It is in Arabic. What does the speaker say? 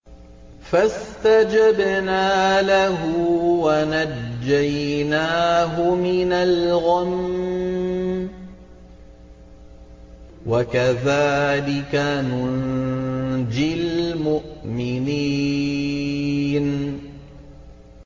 فَاسْتَجَبْنَا لَهُ وَنَجَّيْنَاهُ مِنَ الْغَمِّ ۚ وَكَذَٰلِكَ نُنجِي الْمُؤْمِنِينَ